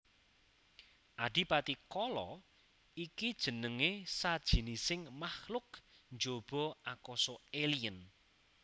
Adipati Kala iki jenengé sajinising makluk njaba akasa alien